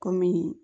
Kɔmi